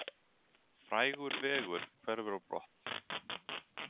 Frægur vegur hverfur á brott